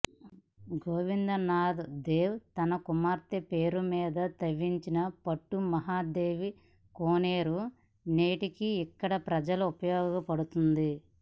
గోవింద నాథ్ దేవ్ తన కుమార్తె పేరు మీద తవ్వించిన పట్టుమహాదేవి కోనేరు నేటికీ ఇక్కడి ప్రజలకు ఉపయోగపడుతోంది